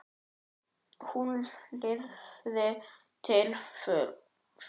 Hún lifði til fulls.